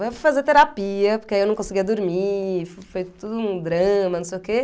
Aí eu fui fazer terapia, porque aí eu não conseguia dormir, foi tudo um drama, não sei o quê.